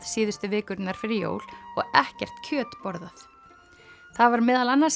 síðustu vikurnar fyrir jól og ekkert kjöt borðað það var meðal annars